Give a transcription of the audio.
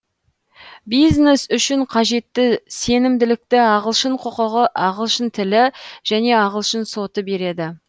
бизнес үшін қажетті сенімділікті ағылшын құқығы ағылшын тілі және ағылшын соты береді